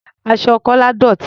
Aṣọ Kọ́lá dọ̀tí.